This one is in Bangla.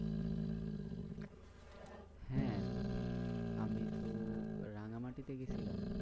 হ্যাঁ আমিতো রাঙামাটি তে গেছিলাম।